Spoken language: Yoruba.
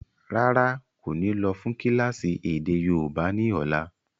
Rárá, kò ní lọ́ fún kílásì èdè yóòbá ni ọ̀la.